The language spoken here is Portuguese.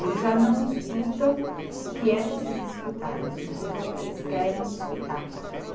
Eles já não escutam o que é preciso escutar, eles escutam o que eles querem escutar.